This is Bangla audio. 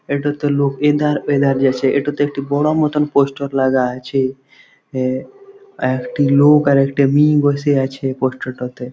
এটাতে লোক এধার এধার গেছে। এটাতে একটি বড় মত পোস্টার লাগা আছে। একটি লোক আরএকটি মীন বসে আছে পোস্টার টাতে।